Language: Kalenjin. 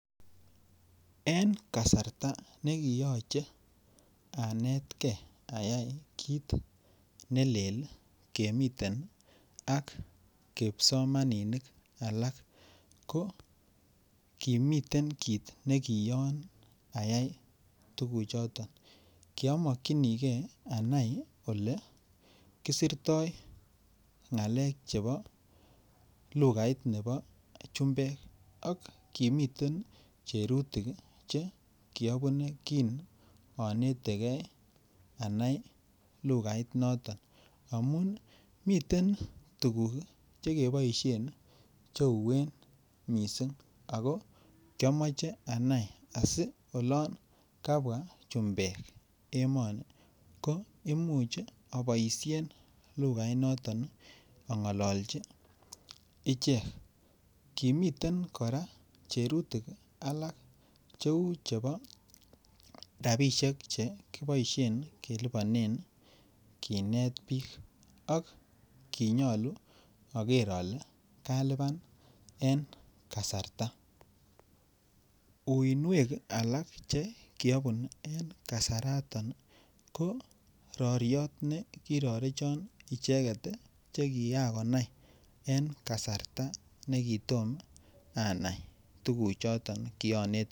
En kasarta nekiyoche anetkei ayai kit ne leel kemiten ak kipsomaninik alak ko kimiten kit nekiyoon ayai tuguchoto kiamakyinige anai Ole kisirto ng'alek chebo lukait nebo chumbek ak kimiten cherutik Che kiabune kin anetegei anai lugainato miten tuguk Che uueen mising' ago kiomoche anai asi olon kabwa chumbek emoni ko Imuch aboisien lukainato ang'alalchi ichek kimiten kora cherutik alak cheu chebo rabisiek Che kiboisien kelipanen kinet bik ak kinyoluu aker ale kalipan en kasarta uinwek alak Che kiabun en kasarato ko roryot nekirorechon icheget Che Kiran konai en kasarta kitom anai tuguchoto kianetege.